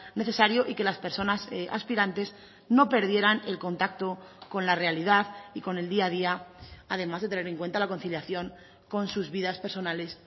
necesario y que las personas aspirantes no perdieran el contacto con la realidad y con el día a día además de tener en cuenta la conciliación con sus vidas personales